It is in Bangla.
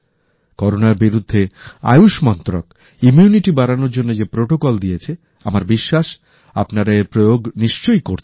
করোনার বিরুদ্ধে আয়ুষ মন্ত্রক ইমিউনিটি বাড়ানোর জন্য যে প্রটোকল দিয়েছে আমার বিশ্বাস আপনারা এর প্রয়োগ নিশ্চয়ই করছেন